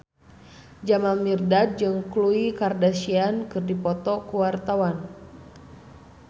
Jamal Mirdad jeung Khloe Kardashian keur dipoto ku wartawan